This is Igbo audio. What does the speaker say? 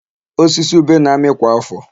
Osisi ube na-amị kwa áfọ̀.